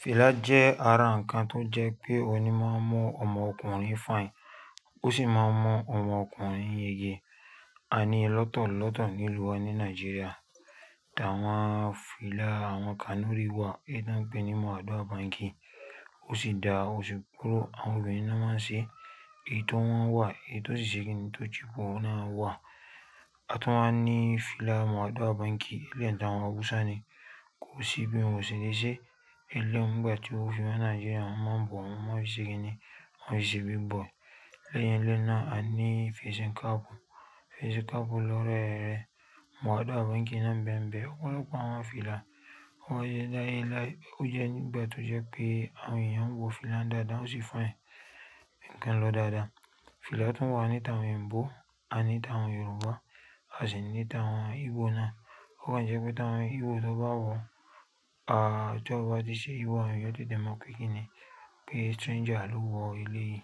Fìlà jẹ́ ara nǹkan tó jẹ́ pé ohun ní máa ń mú ọmọkùnrin fine, ó sì máa mọ ọmọkùnrin yeye. A níi lọ́tọlọ́tọ nílùú wa ní Nàìjíríà ta wọ́n á fìlà, àwọn Kanuri wà, ẹ da ń pe ní mọ̀ ádọ́àbàǹki, ó sì da, ó sì kúrò. Àwọn obìnrin ló máa ń ṣe èyí tó wọ́n wà, èyí tó ṣe kìn-ín tó chipo náà wà. A tun wá ń ní fìlà mọ̀ ádọ́àbàǹki, ilẹ̀ ta wọ́n áhusani kò sì bí ń wòṣe níṣe. Ìlé ń gbà tí o fi mọ̀ Nàìjíríà, àwọn mọ̀ ń bọ̀, àwọn mọ̀ ọ́ ṣe kìn-ín, àwọn ṣe bí bọ̀. Ilé yẹn lé náà a ní Fẹ́ṣìnkápù. Fẹ́ṣìnkápù lọ́rẹ́ rẹ mọ̀ ádọ́àbàǹki náà ń bẹ ń bẹ. Ọ̀pọ̀lọpọ̀ àwọn fìlà wọ́n yé láì láì, ó jẹ́ ń gbà tó jẹ́ pé àwọn èèyàn ń wọ fìlà dáadáa ó sì fine ǹkan lọ dáadáa. Fìlà tu wà ni ta eyinbo àní tàwọn Yorùbá a si ni tàwọn ibo náà. Ó kan jẹ́ pé ta àwọn Igbo tó bá wọ, à tí ó bá di ṣe Igbo àwọn yóò tètè mọ́ pekínì pé stranger ló wọ ilé yìí.